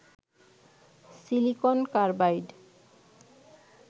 silicon carbide